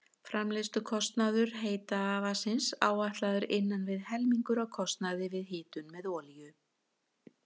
Framleiðslukostnaður heita vatnsins áætlaður innan við helmingur af kostnaði við hitun með olíu.